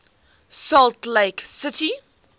salt lake city